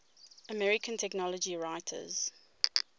american technology writers